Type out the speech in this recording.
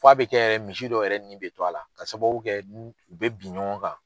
F'a bi kɛ yɛrɛ misi dɔw yɛrɛ nin bɛ to a la, ka sababu kɛ n'u u bɛ bi ɲɔgɔn kan.